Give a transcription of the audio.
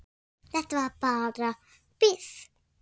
En þetta var bara bið.